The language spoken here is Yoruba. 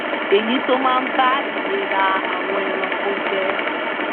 èyí tó máa ba ìlera àwọn ẹranko jẹ́